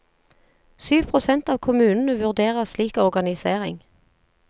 Syv prosent av kommunene vurderer slik organisering.